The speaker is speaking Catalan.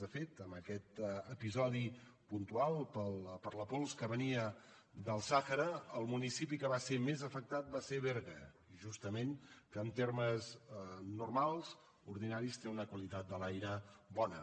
de fet en aquest episodi puntual per la pols que venia del sàhara el municipi que va ser més afectat va ser berga justament que en termes normals ordinaris té una qualitat de l’aire bona